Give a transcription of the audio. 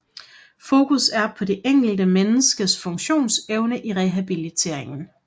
Fokus er på det enkelte menneskes funktionsevne i rehabiliteringen